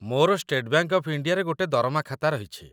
ମୋର state bank of ଇଣ୍ଡିଆରେ ଗୋଟେ ଦରମା ଖାତା ରହିଛି